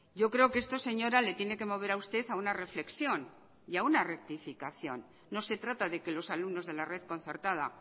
yo creo que esto señora le tiene que mover a usted a una reflexión y a una rectificación no se trata de que los alumnos de la red concertada